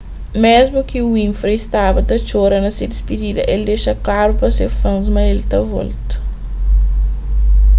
mésmu ki winfrey staba ta txora na se dispidida el dexa klaru pa se fans ma el ta volta